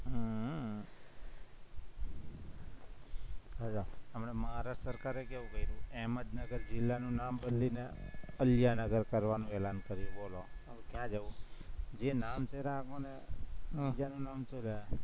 હમણાં ભારત સરકારે કેવું કરું, અહમદનગર જિલ્લાનું નામ બદલીને અલ્યાનગર કરવાનું એલાન કર્યું, બોલો હવે ક્યાં જવું, જે નામ છે એ રાખો ને બીજાનું નામ શું